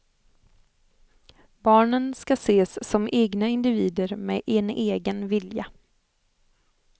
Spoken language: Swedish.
Barnen ska ses som egna individer med en egen vilja.